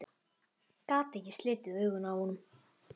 Gat ekki slitið augun af honum.